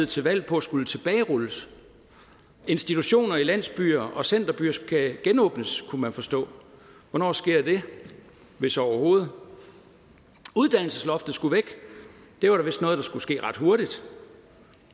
til valg på skulle tilbagerulles institutioner i landsbyer og centerbyer skal genåbnes kunne man forstå hvornår sker det hvis overhovedet uddannelsesloftet skulle væk det var da vist noget der skulle ske ret hurtigt